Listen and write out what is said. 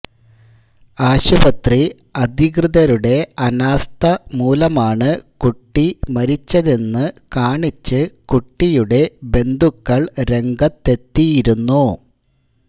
ആശുപത്രി അധികൃതരുടെ അനാസ്ഥ മൂലമാണ് കുട്ടി മരിച്ചതെന്ന് കാണിച്ച് കുട്ടിയുടെ ബന്ധുക്കള് രംഗത്തെത്തിയിരുന്നു